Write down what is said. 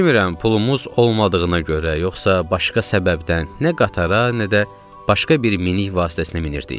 Bilmirəm, pulumuz olmadığına görə, yoxsa başqa səbəbdən nə qatara, nə də başqa bir minik vasitəsinə minirdik.